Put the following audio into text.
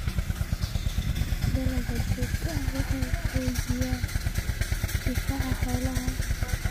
Talaalka joogtada ahi waxa uu xoojiyaa difaaca xoolaha.